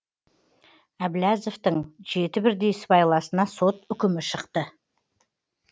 әбләзовтің жеті бірдей сыбайласына сот үкімі шықты